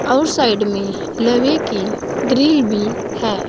और साइड में लोहे की ग्रिल भी है।